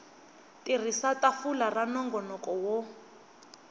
tirhisa tafula ra nongonoko wo